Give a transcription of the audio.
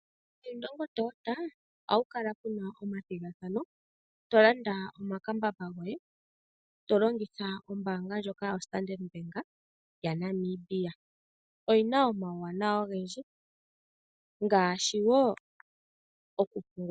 Ku Indongo oha ku kala kuna omathigathano. Tolanda omakambamba goye yilongitha ombaanga ndjoka yo standard bank ya Namibia. Oyina omawuwanawa ogendji ngaashi woo woo oku pungula.